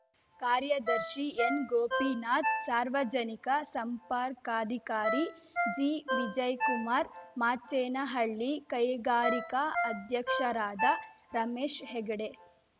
ಕಾರ್ಯದರ್ಶಿ ಎನ್‌ ಗೋಪಿನಾಥ್‌ ಸಾರ್ವಜನಿಕ ಸಂಪರ್ಕಾಧಿಕಾರಿ ಜಿ ವಿಜಯ್ ಕುಮಾರ್‌ ಮಾಚೇನಹಳ್ಳಿ ಕೈಗಾರಿಕಾ ಅಧ್ಯಕ್ಷರಾದ ರಮೇಶ್‌ ಹೆಗಡೆ